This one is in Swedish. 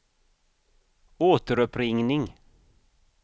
återuppringning